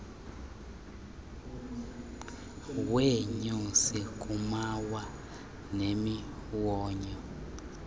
weenyosi kumawa nemiwonyo